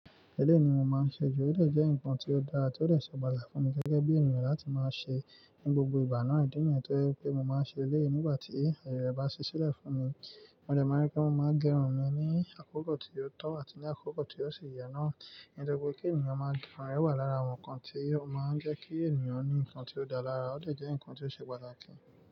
Eleyii ni mo máa ń ṣe ju, eleyii jẹ́ nǹkan tí ó dára tí ó de ṣe pàtàkì fún mi gẹ́gẹ́ bí ènìyàn láti máa ṣe ní gbogbo ìgbà náà. Ìdí nìyẹn tó jẹ́ pé mo máa ń ṣe eleyii nígbà tí aye re bá ṣí sílẹ̀ fún mi, mo dẹ máa ń rẹ́ pé mo máa ń gẹrun mi ní àkókò tí ó tọ́ àti ní àkókò tí ó ṣe yẹ náà. Ní toripe kí ènìyàn máa gẹrun wà lára àwọn nǹkan tí ó máa ń jẹ́ kí ènìyàn ní nǹkan tí ó dára lára, ọ̀lẹ jẹ́ nǹkan tí ó ṣe pàtàkì.